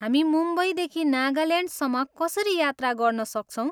हामी मुम्बईदेखि नागाल्यान्डसम्म कसरी यात्रा गर्न सक्छौँ?